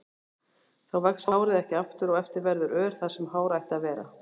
Þá vex hárið ekki aftur og eftir verður ör þar sem hár ætti að vera.